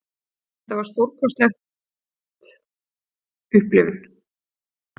Þetta var stórkostlegt upplifun.